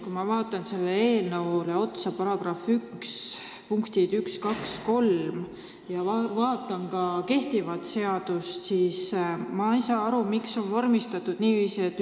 Kui ma vaatan sellele eelnõule otsa, vaatan § 1 punkte 1, 2, 3, ja vaatan ka kehtivat seadust, siis ma ei saa aru, miks on vormistatud niiviisi, nagu on.